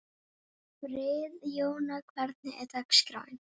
Friðjóna, hvernig er dagskráin?